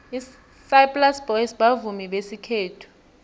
isaplasi boys bavumi besikhethu